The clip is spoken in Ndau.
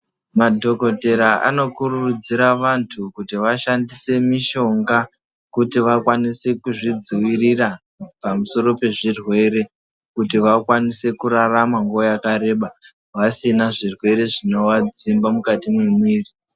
Madhokodheyaa anokurudziraa vantu kuti vashandise mishonga kuti vakwanise kuzvidziviriraa pamusoro pezvirwere, kuti vakwanise kurarama nguva yakareba vasina zvirwere zvinovadzimba mukati memuviri.